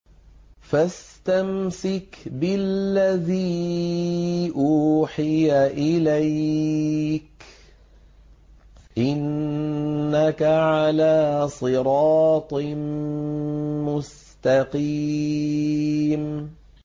فَاسْتَمْسِكْ بِالَّذِي أُوحِيَ إِلَيْكَ ۖ إِنَّكَ عَلَىٰ صِرَاطٍ مُّسْتَقِيمٍ